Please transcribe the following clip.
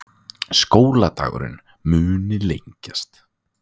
Skóladagurinn muni lengjast